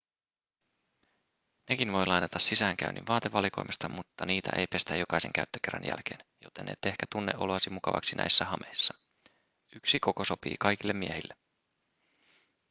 nekin voi lainata sisäänkäynnin vaatevalikoimasta mutta niitä ei pestä jokaisen käyttökerran jälkeen joten et ehkä tunne oloasi mukavaksi näissä hameissa yksi koko sopii kaikille miehille